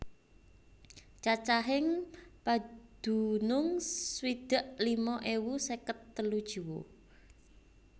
Cacahing padunung swidak lima ewu seket telu jiwa